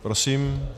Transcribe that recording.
Prosím.